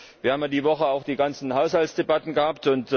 Wir haben ja in dieser Woche auch die ganzen Haushaltsdebatten gehabt.